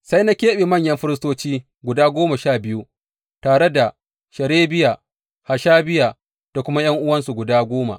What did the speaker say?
Sai na keɓe manyan firistoci guda goma sha biyu tare da Sherebiya, Hashabiya da kuma ’yan’uwansu guda goma.